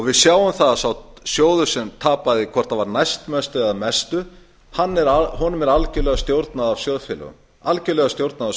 við sjáum að þeim sjóði sem tapaði hvort það var næstmestu eða mestu er algjörlega stjórnað af